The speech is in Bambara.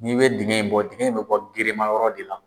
N'i bɛ dingɛ in bɔ, dingɛ in bɛ bɔ gere ma yɔrɔ de la.